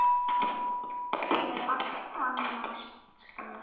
Hún er allt annars staðar.